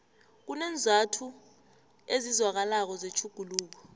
kuneenzathu ezizwakalako zetjhuguluko